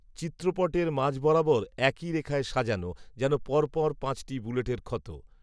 চিত্রপটের মাঝ বরাবর একই রেখায় সাজানো, যেন পরপর পাঁচটি বুলেটের ক্ষত